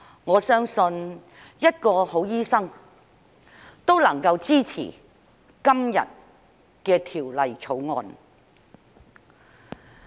我相信一個好醫生，都能夠支持今天的《2021年醫生註冊條例草案》。